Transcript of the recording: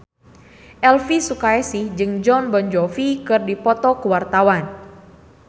Elvy Sukaesih jeung Jon Bon Jovi keur dipoto ku wartawan